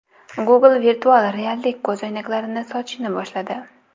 Google virtual reallik ko‘zoynaklarini sotishni boshladi.